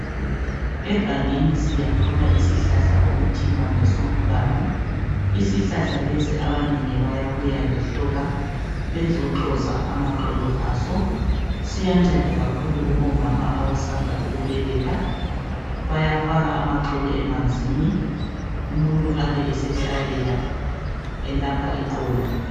Egangeni siyathola isihlahla okuthiwa ngesomnganu isihlahla lesi abanengi bayabuya lehloka bezoxhoza amagxolo aso siyanceda kakhulu kubomama abasanda ukubeletha bayafaka amagxolo emanzini umuntu abe esehlalela elapha iqolo.